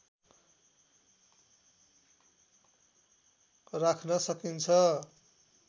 राख्न सकिन्छ